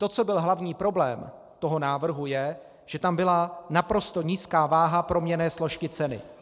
To, co byl hlavní problém toho návrhu je, že tam byla naprosto nízká váha proměnné složky ceny.